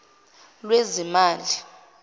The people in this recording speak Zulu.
lwezimali